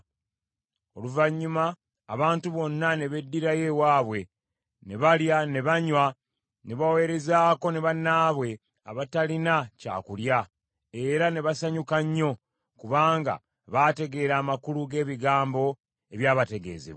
Oluvannyuma abantu bonna ne beddirayo ewaabwe ne balya ne banywa ne baweerezaako ne bannaabwe abatalina kyakulya, era ne basanyuka nnyo, kubanga baategeera amakulu g’ebigambo ebyabategeezebwa.